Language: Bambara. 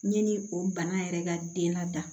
Yanni o bana yɛrɛ ka den na da